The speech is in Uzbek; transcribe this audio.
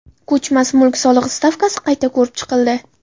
Ko‘chmas mulk solig‘i stavkasi qayta ko‘rib chiqildi.